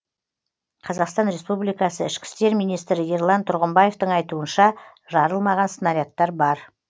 қазақстан республикасы ішкі істер министрі ерлан тұрғымбаевтың айтуынша жарылмаған снарядтар бар